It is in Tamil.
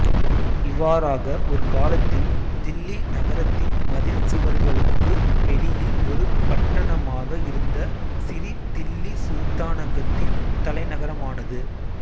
இவ்வாறாக ஒரு காலத்தில் தில்லி நகரத்தின் மதில் சுவர்களுக்கு வெளியில் ஒரு பட்டணமாக இருந்த சிரி தில்லி சுல்தானகத்தின் தலைநகரமானது